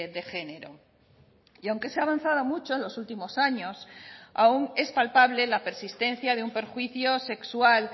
de género y aunque se ha avanzado mucho en los últimos años aún es palpable la persistencia de un perjuicio sexual